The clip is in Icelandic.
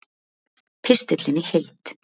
Pistillinn í heild